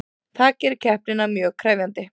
Það gerir keppnina mjög krefjandi